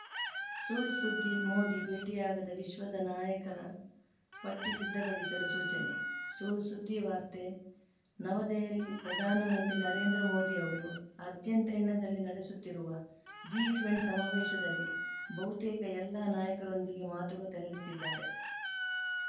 ಸುಳ್‌ ಸುದ್ದಿ ಮೋದಿ ಭೇಟಿಯಾಗದ ವಿಶ್ವದ ನಾಯಕರ ಪಟ್ಟಿ ಸಿದ್ಧಪಡಿಸಲು ಸೂಚನೆ ಸುಳ್‌ ಸುದ್ದಿವಾರ್ತೆ ನವದೆಹಲಿ ಪ್ರಧಾನ ಮಂತ್ರಿ ನರೇಂದ್ರ ಮೋದಿ ಅವರು ಅರ್ಜೆಂಟೀನಾದಲ್ಲಿ ನಡೆಸುತ್ತಿರುವ ಜಿಟ್ವೇನ್ ಸಮಾವೇಶದಲ್ಲಿ ಬಹುತೇಕ ಎಲ್ಲಾ ನಾಯಕರೊಂದಿಗೆ ಮಾತುಕತೆ ನಡೆಸಿದ್ದಾರೆ